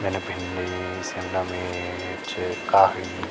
जन भिन्डी शिमला-मिर्च काखड़ी --